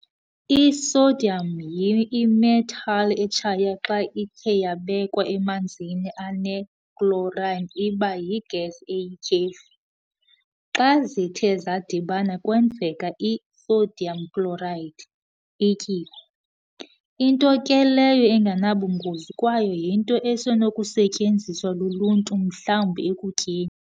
I-Sodium yi-imetal etshayo xa ithe yabekwa emanzini ane- chlorine iba yi-gas eyityhefu. xa zithe zadibana kwenzeka i-"sodium chloride", ityuwa, into ke leyo engenabungozi kwaye yinto esenokusetyenziswa luluntu mhlawumbi ekutyeni.